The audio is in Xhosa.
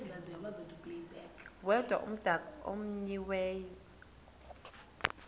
yedwa umdaka omenyiweyo